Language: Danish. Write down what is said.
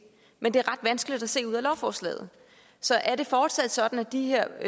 men det er ret vanskeligt at se ud af lovforslaget så er det fortsat sådan at de her